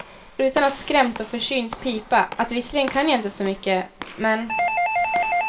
Utan att skrämt och försynt pipa att visserligen kan jag inte så mycket, men.